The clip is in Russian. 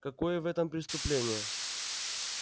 какое в этом преступление